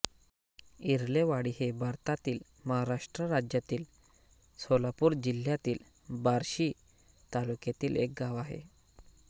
इरलेवाडी हे भारतातील महाराष्ट्र राज्यातील सोलापूर जिल्ह्यातील बार्शी तालुक्यातील एक गाव आहे